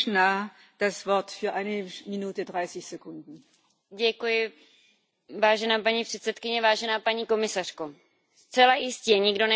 Paní předsedající, paní komisařko, zcela jistě nikdo nemůže zpochybnit fakt, že Německo má právo na to zavést mýtné pro osobní auta na svých dálnicích.